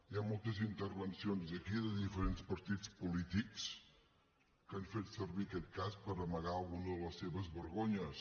hi ha moltes intervencions aquí de diferents partits polítics que han fet servir aquest cas per amagar alguna de les seves vergonyes